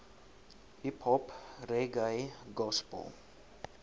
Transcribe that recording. hiphop reggae gospel